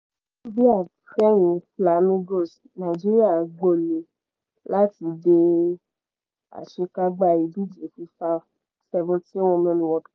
bia fẹ̀yìn flamingos nàìjíríà gbo̩lé̩ láti dé àṣekágbá ìdíje fifa seventeen women world